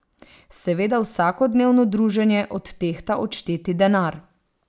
Seveda vsakodnevno druženje odtehta odšteti denar.